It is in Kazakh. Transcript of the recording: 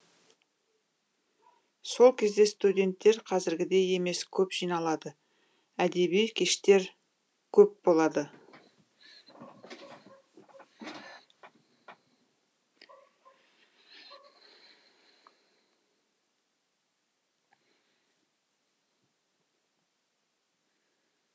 сол кезде студенттер қазіргідей емес көп жиналады әдеби кештер көп болады